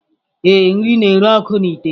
Ee, nri na-ere ọkụ n’ite